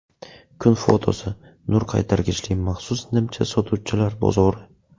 Kun fotosi: Nur qaytargichli maxsus nimcha sotuvchilar bozori.